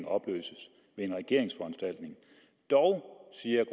opløses ved en regeringsforanstaltning dog siger